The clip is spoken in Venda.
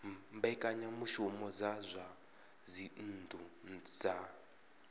mbekanyamushumo dza zwa dzinnu dza